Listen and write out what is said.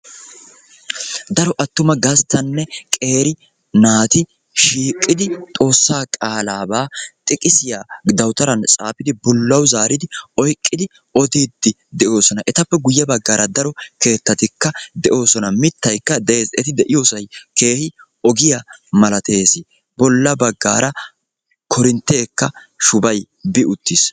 Daro attuma gasttane qeeri naati shiqidi xoossaa qaalaba xiqisiyaa xaafidi daawutaran bollawu zaari oyqqidi odidi deosona. Etappe guuye baggara daro keettatika deosona. Mittayke de'ees. Eti de'iyosay keehi ogiyaa maalates. Bolla baggara korintteka shubay bi uttiis.